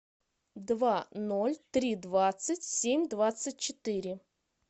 два ноль три двадцать семь двадцать четыре